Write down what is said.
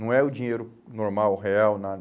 Não é o dinheiro normal, real,